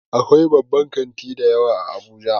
Akwai babban kanti dayawa a abuja